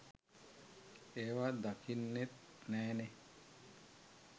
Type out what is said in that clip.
ඒවා දකින්නෙත් නෑනෙ.